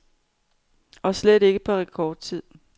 Og slet ikke på rekordtid.